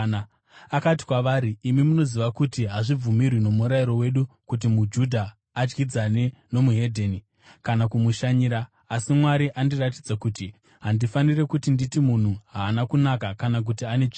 Akati kwavari, “Imi munozviziva kuti hazvibvumirwi nomurayiro wedu kuti muJudha adyidzane nomuhedheni kana kumushanyira. Asi Mwari andiratidza kuti handifaniri kuti nditi munhu haana kunaka kana kuti ane tsvina.